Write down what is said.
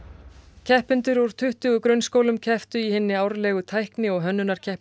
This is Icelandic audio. keppendur úr tuttugu grunnskólum kepptu í hinni árlegu tækni og hönnunarkeppni